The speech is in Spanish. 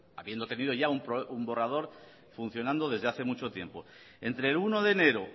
habiendo tenido ya un borrador funcionando desde hace mucho tiempo entre el uno de enero